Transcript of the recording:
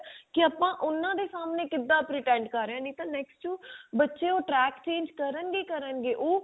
ਕੀ ਆਪਾਂ ਉਹਨਾਂ ਦੇ ਸਾਹਮਣੇ ਕਿਦਾਂ pretend ਕਰ ਰਹੇ ਆਂ ਨਹੀਂ ਤਾਂ next to ਬੱਚੇ ਉਹ track change ਕਰਨ ਗੇ ਹੀ ਕਰਨ ਗੇ ਉਹ